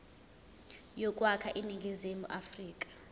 yokwakha iningizimu afrika